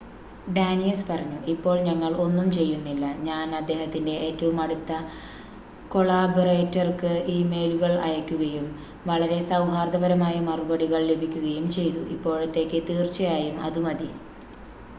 "ഡാനിയസ് പറഞ്ഞു "ഇപ്പോൾ ഞങ്ങൾ ഒന്നും ചെയ്യുന്നില്ല. ഞാൻ അദ്ദേഹത്തിന്റെ ഏറ്റവും അടുത്ത കൊളാബൊറേറ്റർക്ക് ഇമെയിലുകൾ അയയ്ക്കുകയും വളരെ സൗഹാർദ്ദപരമായ മറുപടികൾ ലഭിക്കുകയും ചെയ്തു. ഇപ്പോഴത്തേക്ക് തീർച്ചയായും അത് മതി.""